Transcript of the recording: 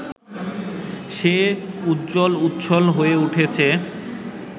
সে উজ্জ্বল উচ্ছ্বল হয়ে ওঠে